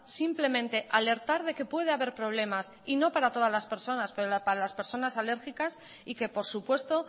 simplemente alertar de que puede haber problemas y no para todas las personas pero para las personas alérgicas y que por supuesto